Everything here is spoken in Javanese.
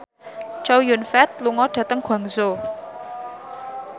Chow Yun Fat lunga dhateng Guangzhou